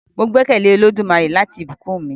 Mo gbẹ́kẹ̀lé Olódùmarè láti bùkún mi.